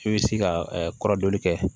I bɛ se ka kɔrɔdɔli kɛ